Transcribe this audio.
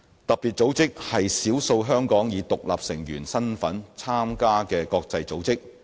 特別組織是少數香港以獨立成員身份參加的國際組織。